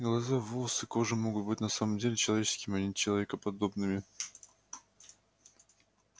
глаза волосы кожа могут быть на самом деле человеческими а не человекоподобными